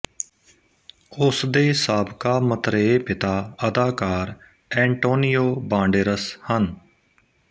ਉਸ ਦੇ ਸਾਬਕਾ ਮਤਰੇਏ ਪਿਤਾ ਅਦਾਕਾਰ ਐਂਟੋਨੀਓ ਬਾਂਡੇਰਸ ਹਨ